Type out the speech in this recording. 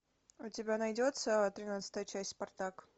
у тебя найдется тринадцатая часть спартак